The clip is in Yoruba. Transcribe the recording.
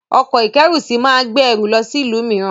Ọkọ̀-ìkẹ́rùsí máa gbé ẹrù lọ sí ìlú mìíràn.